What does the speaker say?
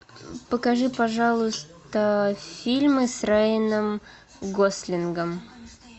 покажи пожалуйста фильмы с райаном гослингом